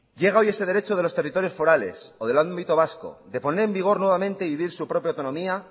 llega hoy ese derecho de los territorios forales o del ámbito vasco de poner en vigor nuevamente y vivir su propia autonomía